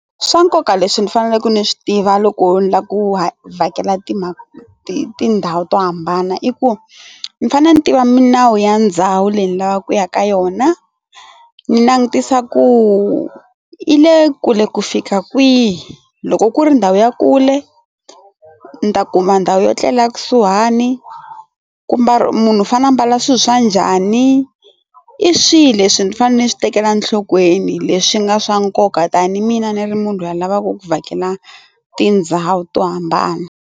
Swa nkoka leswi ni faneleke ni swi tiva loko ni lava ku vhakela tindhawu to hambana i ku ni fanele ni tiva milawu ya ndhawu leyi ni lavaka ku ya ka yona ni langutisa ku yi le kule ku fika kwihi loko ku ri ndhawu ya kule ni ta kuma ndhawu yo etlela kusuhani kumbe munhu u fane a ambala swilo swa njhani i swihi leswi ni fanele ni swi tekela nhlokweni leswi nga swa nkoka tanihi mina ni ri munhu loyi a lavaku ku vhakela tindhawu to hambana.